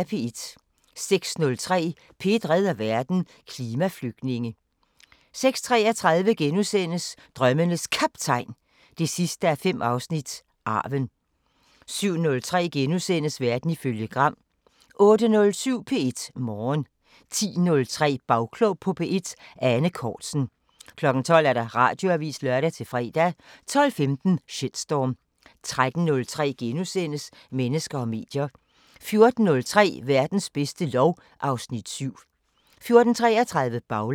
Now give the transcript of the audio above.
06:03: P1 redder verden: Klimaflygtninge 06:33: Drømmenes Kaptajn 5:5 – Arven * 07:03: Verden ifølge Gram * 08:07: P1 Morgen 10:03: Bagklog på P1: Ane Cortzen 12:00: Radioavisen (lør-fre) 12:15: Shitstorm 13:03: Mennesker og medier * 14:03: Verdens bedste lov (Afs. 7) 14:33: Baglandet